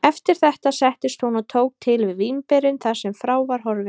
Eftir þetta settist hún og tók til við vínberin þar sem frá var horfið.